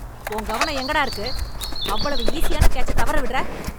உன் கவனம் எங்க டா இருக்கு? அவ்வளவு ஈசியான கேட்சத் தவற விடுற!